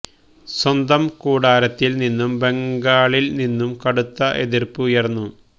സ്വന്തം കൂടാരത്തില് നിന്നും ബംഗാളില് നിന്നും കടുത്ത എതിര്പ്പ് ഉയര്ന്നു